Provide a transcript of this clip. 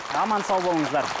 аман сау болыңыздар